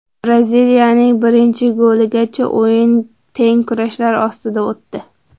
Braziliyaning birinchi goligacha o‘yin teng kurashlar ostida o‘tdi.